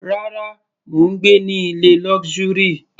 Rárá, mò ń gbé ní ilé luxury.